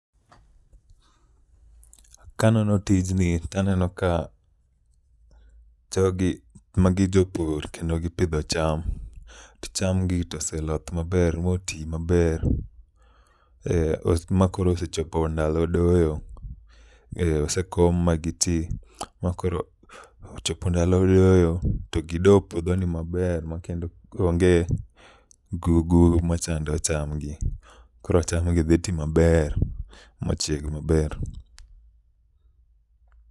Kanono tijni taneno ka jogi magi jopur kendo gipidho cham, to cham gi toseloth maber moti maber. Oh, ma koro osechopo ndalo doyo, e osekom ma giti. Ma koro ochopo ndalo doyo, to gido puodho ni maber ma kendo onge gugru ma chando cham gi. Koro cham gi dhi ti maber ma chieg maber.